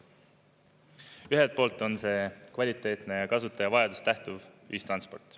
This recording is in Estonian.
Ühelt poolt on see kvaliteetne ja kasutaja vajadustest lähtuv ühistransport.